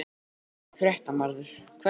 Fréttamaður: Hverjir?